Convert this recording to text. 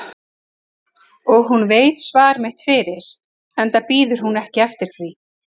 Og hún veit svar mitt fyrir enda bíður hún ekki eftir því.